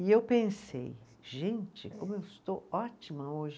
E eu pensei, gente, como eu estou ótima hoje.